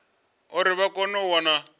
uri vha kone u wana